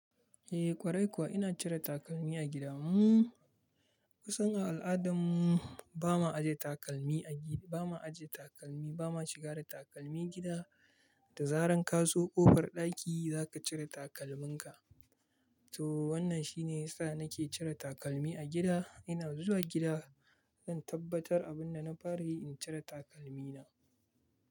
Eh ƙwarai kuwa ina cire takalmi a gida. Mu kusan a al'adarmu ba ma ajiye takalmi a gida, ba ma ajiye takalmi, ba ma shiga da takalmi gida da zarar ka zo ƙofar ɗaki za ka cire takalminka. To wannan shine yasa nake cire takalmi a gida. Ina zuwa gida zan tabbatar abin da na fara yi, in cire takalmina.